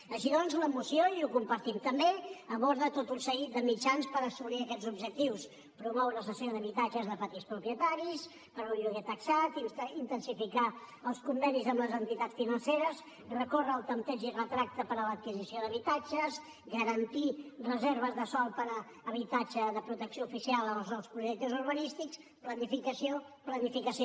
així doncs la moció i ho compartim també aborda tot un seguit de mitjans per assolir aquests objectius promoure la cessió d’habitatges de petits propietaris per un lloguer taxat intensificar els convenis amb les entitats financeres recórrer al tanteig i retracte per a l’adquisició d’habitatges garantir reserves de sòl per a habitatge de protecció oficial en els nous projectes urbanístics planificació planificació